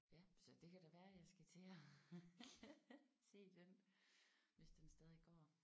Ja så det kan da være jeg skal til at se den hvis den stadig går